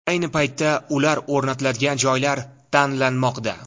Ayni paytda ular o‘rnatiladigan joylar tanlanmoqda.